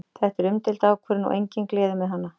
Þetta er umdeild ákvörðun og engin gleði með hana.